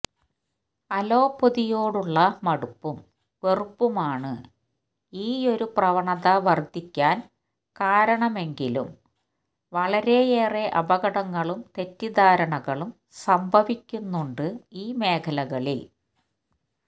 അലോപ്പതിയോടുള്ള മടുപ്പും വെറുപ്പുമാണ് ഈയൊരു പ്രവണത വര്ധിക്കാന് കാരണമെങ്കിലും വളരെയേറെ അപകടങ്ങളും തെറ്റിദ്ധാരണകളും സംഭവിക്കുന്നുണ്ട് ഈ മേഖലകളില്